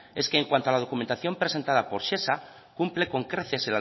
es que en cuanto a la documentación presentada por shesa cumple con creces